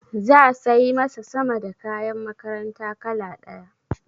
Za sai masa sama da kayan makaranta kala ɗaya.